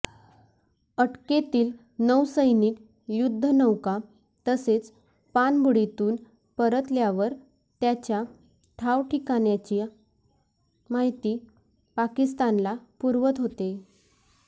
अटकेतील नौसैनिक युद्धनौका तसेच पाणबुडीतून परतल्यावर त्याच्या ठावठिकाण्याची माहिती पाकिस्तानला पुरवत होते